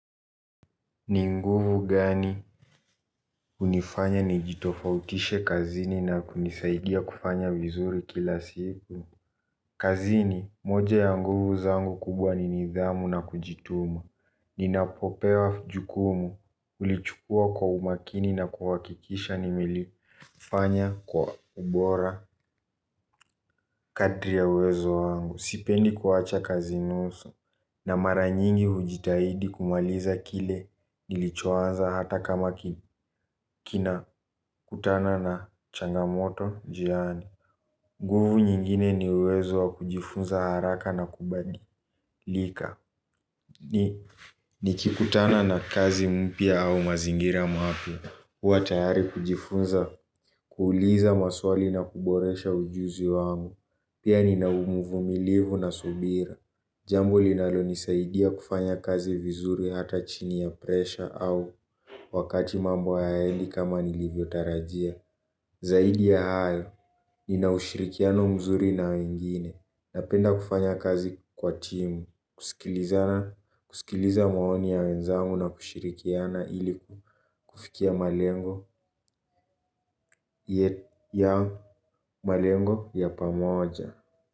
Ninguvu gani unifanya nijitofautishe kazini na kunisaidia kufanya vizuri kila siku? Kazini, moja ya nguvu zangu kubwa ni nidhamu na kujituma. Ninapopewa jukumu, ulichukua kwa umakini na kuwakikisha nimelifanya kwa ubora. Kadri ya wezo wangu, sipendi kuwacha kazi nusu na mara nyingi hujitahidi kumaliza kile nilichoanza hata kama kina kutana na changamoto njiani. Nguvu nyingine ni wezo wa kujifunza haraka na kubadi lika. Ni, ni kikutana na kazi mpia au mazingira mapya. Huwa tayari kujifunza, kuuliza maswali na kuboresha ujuzi wangu. Jambo linalo nisaidia kufanya kazi vizuri hata chini ya presha au wakati mambo yaendi kama nilivyo tarajia. Zaidi ya hayo, ninaushirikiano mzuri na wengine. Napenda kufanya kazi kwa timu, kusikiliza maoni ya wenzamu na kushirikiana ili kufikia malengo ya pamoja.